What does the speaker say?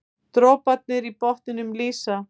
Droparnir í botninum lýsa.